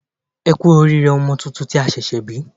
E kú oríire ọmọ tuntun tí o ṣẹ̀ṣẹ̀ bí o